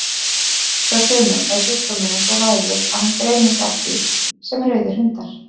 Hjá sumum er sjúkdómurinn svo vægur að hann greinist ekki sem rauðir hundar.